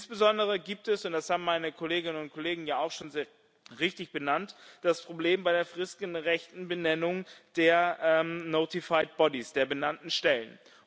Insbesondere gibt es und das haben meine Kolleginnen und Kollegen ja auch schon sehr richtig benannt das Problem bei der fristgerechten Benennung der notified bodies, der benannten Stellen.